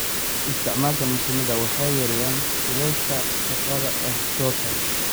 Isticmaalka mashiinada waxay yareeyaan shilalka shaqada ee goobta.